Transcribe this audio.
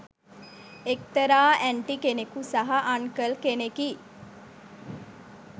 එක්‌තරා ඇන්ටි කෙනකු සහ අන්කල් කෙනෙකි